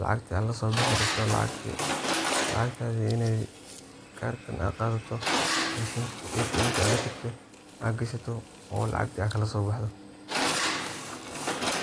lacagta lasoo bixi rabto laxagtaadi inay karkan ad qadato, mashinti atmka ad latagto, ad gashato oo lacagtii ad kalaso baxdo.